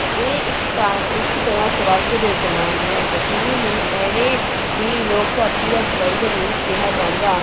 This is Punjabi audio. ਇਹ ਇੱਕ ਤ ਇੱਕ ਤਰ੍ਹਾਂ ਸਵਰਗ ਦੇ ਸਮਾਨ ਹੈ, ਕਸ਼ਮੀਰ ਨੂੰ ਇਵੇਂ ਹੀ ਲੋਕ ਧਰਤੀ ਦਾ ਸਵਰਗ ਨਹੀਂ ਕਿਹਾ ਜਾਂਦਾ,